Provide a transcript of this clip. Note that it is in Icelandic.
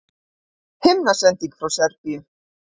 Himnasending frá Serbíu